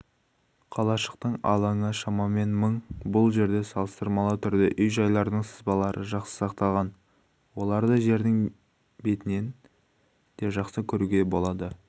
қалашықтың алаңы шамамен мың бұл жерде салыстырмалы түрде үй-жайлардың сызбалары жақсы сақталған оларды жердің бетінен де жақсы көруе болады